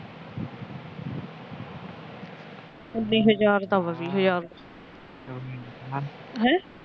ਉੱਨੀ ਹਜ਼ਾਰ ਦਾ ਐ ਵੀਹ ਹਜਾਰ ਦਾ ਹੈ।